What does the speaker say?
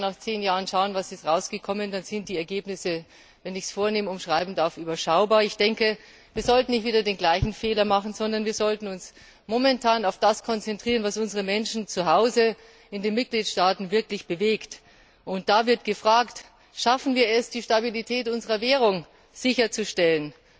Wenn Sie heute nach zehn Jahren schauen, was dabei herausgekommen ist, dann sind die Ergebnisse wenn ich es vornehm umschreiben darf überschaubar. Ich denke, wir sollten nicht wieder den gleichen Fehler machen, sondern wir sollten uns momentan auf das konzentrieren, was die Menschen zu Hause in unseren Mitgliedstaaten wirklich bewegt. Und da wird gefragt Schaffen wir es, die Stabilität unserer Währung sicherzustellen?